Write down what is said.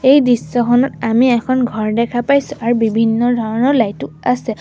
এই দৃশ্যখনত আমি এখন ঘৰ দেখা পাইছোঁ আৰু বিভিন্ন ধৰণৰ লাইট ও আছে।